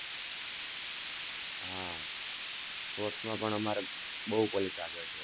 હા sports માં અમારે બહુ collage આગળ છે.